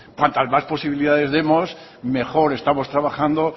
cuantas más posibilidades demos mejor estamos trabajando